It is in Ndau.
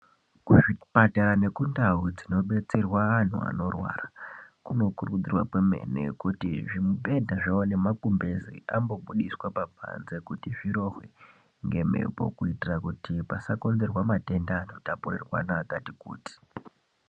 Kuzvipatara nekundau dzinobetserwa antu anorwara kunokurudzirwa kwemene kuti zvimibhedha zvavo nemagumbeze zvimbobudiswe pabanze kuti zvirohwe ngemhepo. Kuitira kuti pasakonzerwa matenda anotapurirwana akati kuti.